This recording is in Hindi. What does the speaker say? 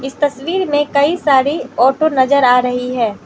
तस्वीर में कई सारी ऑटो नजर आ रही है।